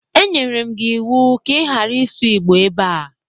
E nyere m gi iwu ka ị ghara isu igbo ebe a!